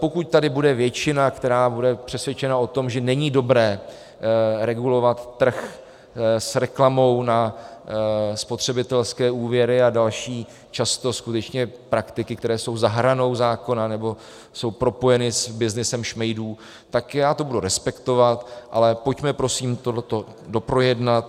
Pokud tady bude většina, která bude přesvědčena o tom, že není dobré regulovat trh s reklamou na spotřebitelské úvěry a další často skutečně praktiky, které jsou za hranou zákona nebo jsou propojeny s byznysem šmejdů, tak já to budu respektovat, ale pojďme prosím tohle doprojednat.